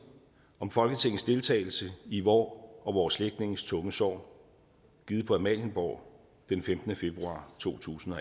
om folketingets deltagelse i vor og vore slægtninges tunge sorg givet på amalienborg den femtende februar to tusind og